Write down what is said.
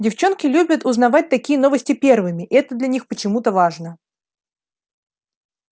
девчонки любят узнавать такие новости первыми это для них почему-то важно